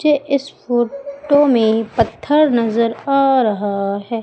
मुझे इस फोटो में पत्थर नजर आ रहा हैं।